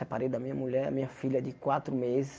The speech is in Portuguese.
Separei da minha mulher a minha filha de quatro meses.